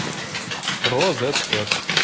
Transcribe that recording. розет кэт